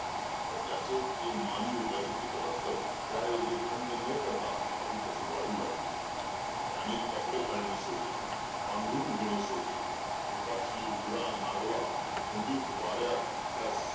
पण त्याचे ते मानवी राजपूत रक्त त्या योगे थंड न पडता अधिकच वाढू लागले त्याने कपडे घालणे सोडले पांघरून घेणे सोडले उपाशी उघडा नागवा थंडीत वाऱ्यात त्या